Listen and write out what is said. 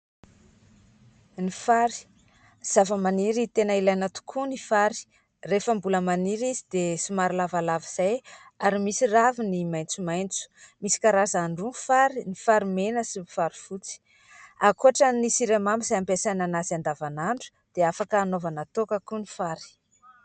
Ny fary : zavamaniry tena ilaina tokoa ny fary, rehefa mbola maniry izy dia somary lavalava izay ary misy raviny maitsomaitso. Misy karazany roa ny fary : ny fary mena sy ny fary fotsy. Ankoatran'ny siramamy izay ampiasaina an'azy andavanandro dia afaka hanaovana toaka koa ny fary.